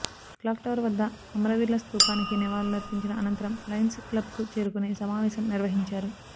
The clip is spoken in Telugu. క్లాక్ టవర్ వద్ద అమరవీరుల స్థూపానికి నివాళులర్పించిన అనంతరం లయన్స్ క్లబ్కు చేరుకొని సమావేశం నిర్వ హించారు